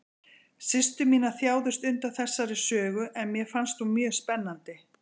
Systur mínar þjáðust undan þessari sögu en mér fannst hún mjög spennandi.